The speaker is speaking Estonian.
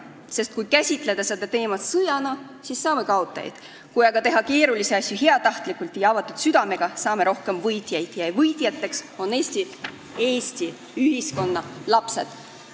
Sest kui käsitleda seda teemat sõjana, siis me saame kaotajaid, kui aga teha keerulisi asju heatahtlikult ja avatud südamega, siis saame rohkem võitjaid ja võitjateks on Eesti lapsed.